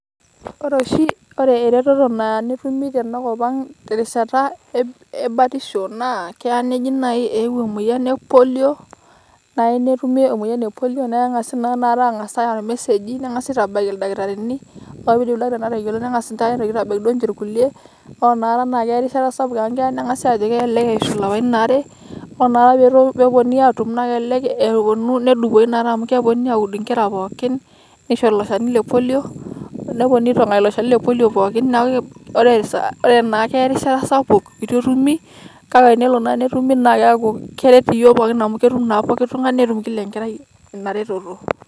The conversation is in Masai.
Ore oshi, ore ereteto Naya netumi tenakop ang' terishata ebatisho naa naa kelo naaji neji eeuo emoyian ePolio naa keng'asi naa aareu irmeseji neng'asi aitabaki oldakitari ore peidip ildakitarini atayiolo neng'as ninche aitabaki duo enche irkulie ore Ina rishata naa keya erishata sapuk amu keya neng'asi aajo kelelek eishu ilapaitin aare, ore noapa pee eponunui aatum na kelelek eponu nedopoi amu keponunui aaud inkera pookin neishori ilo Shani lePolio neponunui aitong'aki ilo Shani lePolio pookin ore ore naa keya erishata sapuk eitu etumi kake tenelo naa netumi naa keeku keret iyiok pookin amu ketum naa pooki tung'ani netum kila Enkerai Ina reteto.